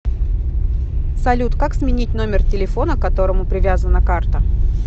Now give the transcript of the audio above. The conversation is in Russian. салют как сменить номер телефона к которому привязана карта